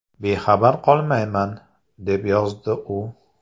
Bexabar qolmayman”, deb yozdi u.